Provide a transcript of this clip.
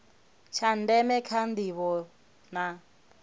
tsha ndeme kha ndivho na